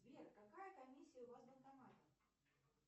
сбер какая комиссия у вас в банкомате